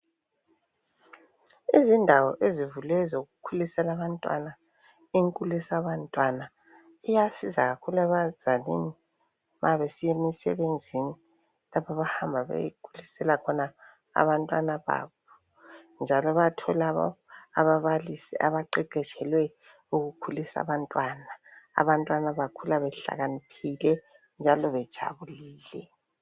Izindawo ezivuliweyo ezokukhulisela abantwana inkulisabantwana iyasiza kakhulu ebazalini mabesiya emisebenzini lapho abahamba beyekhulisela khona abantwana babo njalo bayathola ababalisi abaqeqetshele ukukhulisa abantwana, abantwana bakhula behlakaniphile njalo bejabulile.